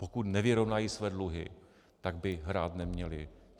Pokud nevyrovnají své dluhy, tak by hrát neměli.